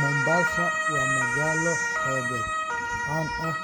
Mombasa waa magaalo xeebeed caan ah